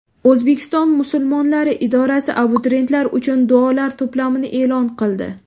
O‘zbekiston musulmonlari idorasi abituriyentlar uchun duolar to‘plamini e’lon qildi.